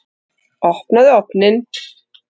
Opnaðu ofninn!